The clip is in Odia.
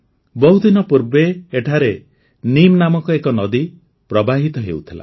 ବହୁଦିନ ପୂର୍ବେ ଏଠାରେ ନୀମ୍ ନାମକ ଗୋଟିଏ ନଦୀ ପ୍ରବାହିତ ହେଉଥିଲା